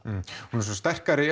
hún er svona sterkari